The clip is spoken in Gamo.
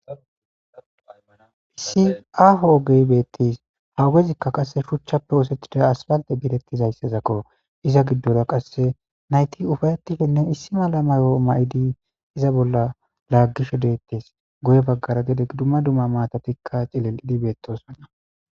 issi aho ogey beettis hawugezikka qasse shuchchappe ooosethida aspalte biirettizayssezakko iza giddora qasse nayti ufayetishenne issi mala mayo ma7idi iza bolla laaggisho deettes goye baggara gede dumma dumma maatatikka cilel7idi beettosonna